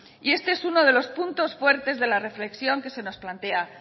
y este es uno de los puntos fuertes de la reflexión que se nos plantea